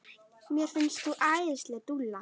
Mér finnst þú æðisleg dúlla!